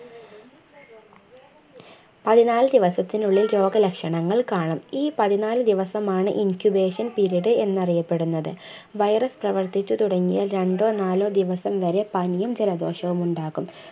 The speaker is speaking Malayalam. പതിനാല് ദിവസത്തിനുള്ളിൽ രോഗലക്ഷണങ്ങൾ കാണും ഈ പതിനാലു ദിവസമാണ് incubation period എന്നറിയപ്പെടുന്നത് virus പ്രവർത്തിച്ചുതുടങ്ങിയാൽ രണ്ടോ നാലോ ദിവസം വരെ പനിയും ജലദോഷവുമുണ്ടാകും